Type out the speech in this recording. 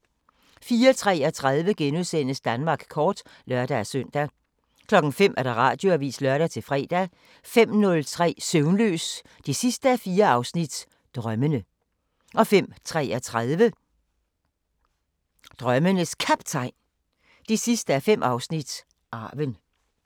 04:53: Danmark kort *(lør-søn) 05:00: Radioavisen (lør-fre) 05:03: Søvnløs 4:4 – Drømmene 05:33: Drømmenes Kaptajn 5:5 – Arven